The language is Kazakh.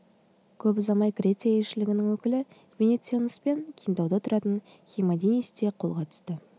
көп ұзамай греция елшілігінің өкілі венеционоспен кентауда тұратын химанидис те қолға түсті